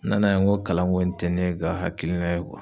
N nana ye n ko kalanko in tɛ ne ka hakilina ye